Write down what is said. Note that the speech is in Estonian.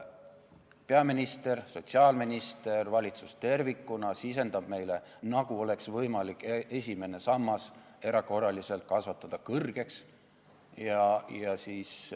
Peaminister, sotsiaalminister ja valitsus tervikuna sisendavad meile, nagu oleks võimalik esimene sammas erakorraliselt kõrgeks kasvatada.